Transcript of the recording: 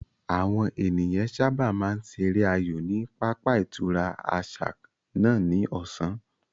Àwọn ènìyàn sáábà máa ń ṣeré aayò ní pápá ìtura àṣà náà ní ọ̀sán